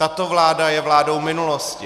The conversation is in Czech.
Tato vláda je vládou minulosti.